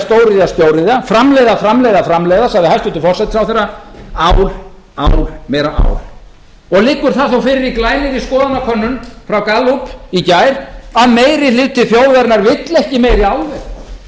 stóriðja stóriðja stóriðja framleiða framleiða framleiða sagði hæstvirtur forsætisráðherra ál ál meira ál og liggur það þó fyrir í glænýrri skoðanakönnun frá gallup í gær að meiri hluti þjóðarinnar vill ekki meiri álver